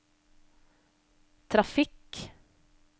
trafikk